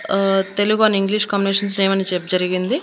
ఆ Telugu and English combinations నేమని చెప్ జరిగింది.